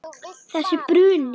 Þessi bruni.